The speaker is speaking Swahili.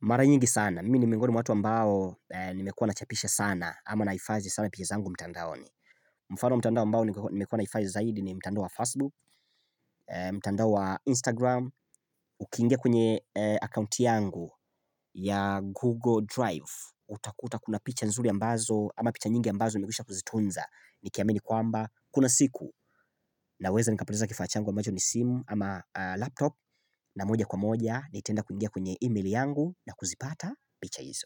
mara nyingi sana. Mi ni mingoni mwa watu wa mbao nimekuwa nachapisha sana ama naifazi sana piche zangu mtandaoni. Mfano wa mtandao mbao nimekuwa naifazi zaidi ni mtandao wa Facebook, mtandao wa Instagram, ukingia kwenye accounti yangu ya Google Drive. Utakuta kuna picha nzuri ambazo ama picha nyingi ambazo umigisha kuzitunza. Nikiamini kwamba kuna siku naweza nikapoteza kifaa changu ambacho ni simu ama laptop na moja kwa moja Nitanda kuingia kwenye email yangu na kuzipata picha hizo.